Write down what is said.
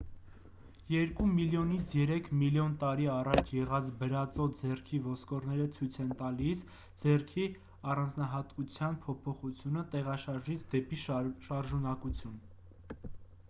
երկու միլիոնից երեք միլիոն տարի առաջ եղած բրածո ձեռքի ոսկորները ցույց են տալիս ձեռքի առանձնահատկության փոփոխությունը տեղաշարժից դեպի շարժունակություն